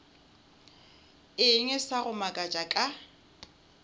eng sa go makatša ka